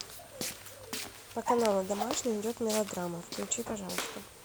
по каналу домашний идет мелодрама включи пожалуйста